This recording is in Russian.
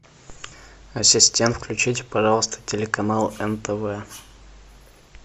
ассистент включить пожалуйста телеканал нтв